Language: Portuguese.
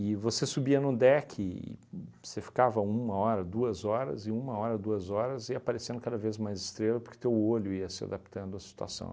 E você subia no deck, e você ficava uma hora, duas horas, e uma hora, duas horas, ia aparecendo cada vez mais estrela, porque teu olho ia se adaptando à situação.